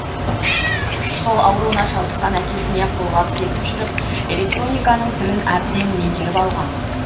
сал ауруына шалдыққан әкесіне қолғабыс етіп жүріп электрониканың тілін әбден меңгеріп алған